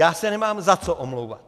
Já se nemám za co omlouvat.